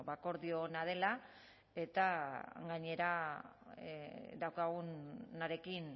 akordio ona dela eta gainera daukagunarekin